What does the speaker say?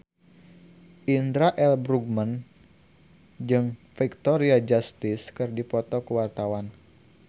Indra L. Bruggman jeung Victoria Justice keur dipoto ku wartawan